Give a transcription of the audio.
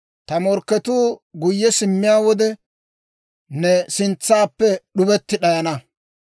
Ta morkketuu guyye simmiyaa wode, ne sintsappe d'ubetti d'ayana.